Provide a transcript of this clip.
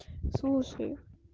слушай